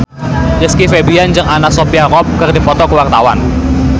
Rizky Febian jeung Anna Sophia Robb keur dipoto ku wartawan